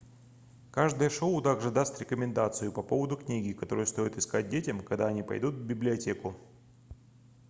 каждое шоу также даст рекомендацию по поводу книги которую стоит искать детям когда они пойдут в библиотеку